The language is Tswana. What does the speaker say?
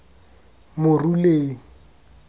moruleng